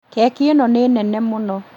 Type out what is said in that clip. Keki ĩno nĩ nene mũno